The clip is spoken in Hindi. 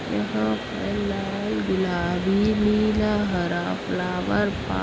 यहाँ पर लाल गुलाबी नीला हरा फ्लावर पौ --